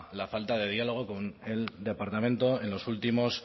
la falta de diálogo con el departamento en los últimos